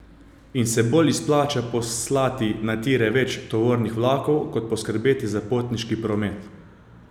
In se bolj izplača poslati na tire več tovornih vlakov kot poskrbeti za potniški promet?